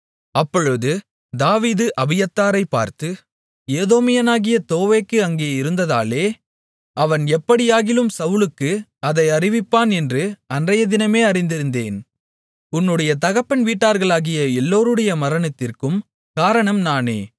அப்பொழுது தாவீது அபியத்தாரைப் பார்த்து ஏதோமியனாகிய தோவேக்கு அங்கே இருந்ததாலே அவன் எப்படியாகிலும் சவுலுக்கு அதை அறிவிப்பான் என்று அன்றையதினமே அறிந்திருந்தேன் உன்னுடைய தகப்பன் வீட்டார்களாகிய எல்லோருடைய மரணத்திற்கும் காரணம் நானே